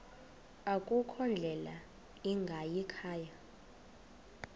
akukho ndlela ingayikhaya